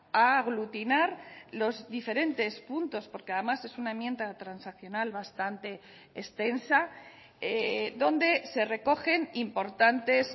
a aglutinar los diferentes puntos porque además es una enmienda transaccional bastante extensa donde se recogen importantes